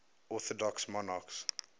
orthodox monarchs